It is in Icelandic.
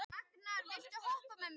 Raknar, viltu hoppa með mér?